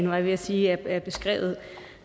var jeg ved at sige er beskrevet